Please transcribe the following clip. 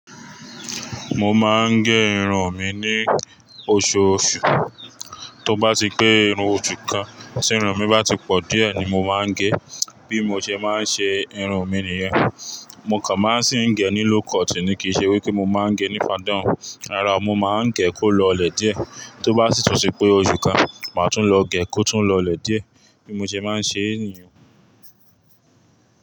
Mo máa ń gẹ irun mi ní oṣooṣù. Tó bá ti pé irun osú kan, tí irun mi bá ti pọ̀ díẹ̀ ni mo máa ń gẹ. Bí mo ṣe máa ń ṣe irun mi nìyẹn. Mo kàn máa sì ń gẹ ní low cut ni kìí ṣe wí pé mo máa ń gẹ ní fadán. Rárá, mo máa ń gẹ kó lọlẹ̀ díẹ̀. Tó bá sì tún ṣe pé osu kan, màá tún lọ gẹ kó tún lọlẹ̀ díẹ̀. Bí mo ṣe máa ń ṣee nìyẹn.